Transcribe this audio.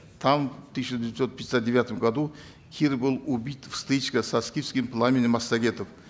там в тысяча девятьсот пятьдесят девятом году кир был убит в стычке со скифским пламенем массагетов